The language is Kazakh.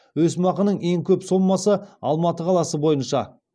өсімақының ең көп сомасы алматы қаласы бойынша